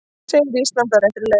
Segir Ísland á réttri leið